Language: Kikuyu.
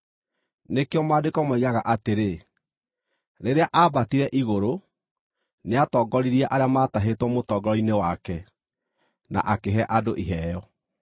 Nĩkĩo Maandĩko moigaga atĩrĩ: “Rĩrĩa aambatire igũrũ, nĩatongoririe arĩa maatahĩtwo mũtongoro-inĩ wake, na akĩhe andũ iheo.”